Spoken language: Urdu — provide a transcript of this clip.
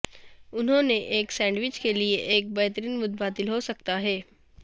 انہوں نے ایک سینڈوچ کے لئے ایک بہترین متبادل ہو سکتا ہے